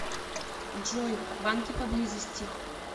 джой банки поблизости